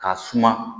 K'a suma